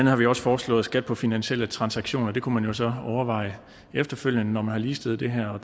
har vi jo også foreslået skat på finansielle transaktioner og det kunne man jo så overveje efterfølgende når man har ligestillet det her